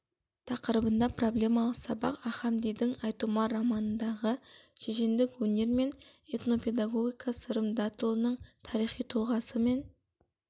тақырыбында проблемалық сабақ ахамдидің айтұмар романындағы шешендік өнер мен этнопедагогика сырым датұлының тарихи тұлғасы мен